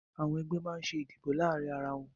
Àwọn ẹgbẹ́ máa ń ṣe ìdìbò láàárín ara wọn